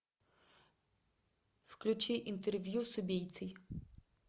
включи интервью с убийцей